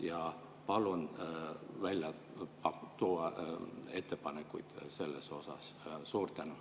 Ja palun välja tuua ettepanekuid selle kohta.